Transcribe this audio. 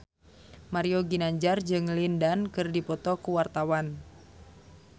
Mario Ginanjar jeung Lin Dan keur dipoto ku wartawan